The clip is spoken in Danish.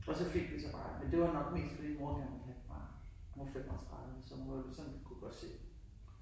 Og så fik de så mig men det var nok mest fordi mor godt ville have et barn. Hun var 35 så hun var jo sådan hun kunne godt se